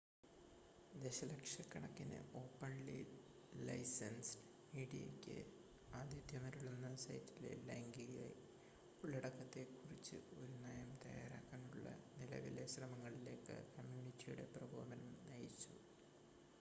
ദശലക്ഷക്കണക്കിന് ഓപ്പൺലി-ലൈസെന്സ്ഡ് മീഡിയക്ക് ആതിഥ്യമരുളുന്ന സൈറ്റിലെ ലൈംഗിക ഉള്ളടക്കത്തെ കുറിച്ച് ഒരു നയം തയ്യാറാക്കാനുള്ള നിലവിലെ ശ്രമങ്ങളിലേക്ക് കമ്മ്യൂണിറ്റിയുടെ പ്രകോപനം നയിച്ചു